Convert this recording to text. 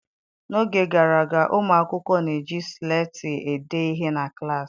N'oge gara aga, ụmụ akwụkwọ na-eji sleeti ede ihe na klaasị.